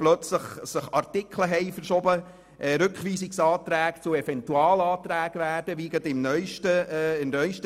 Auf einmal haben sich da Artikel verschoben, und Rückweisungsanträge wurden zu Eventualanträgen, wie es gerade in der neusten Version der Fall war.